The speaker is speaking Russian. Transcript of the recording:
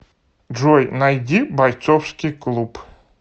джой найди бойцовский клуб